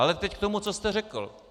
Ale teď k tomu, co jste řekl.